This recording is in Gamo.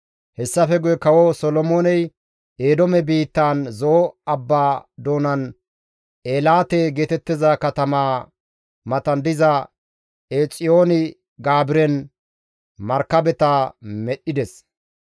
Hessafe guye kawo Solomooney Eedoome biittaan Zo7o abbaa doonan Eelaate geetettiza katamaa matan diza Eexiyoon-Gaabiren markabeta medhdhides.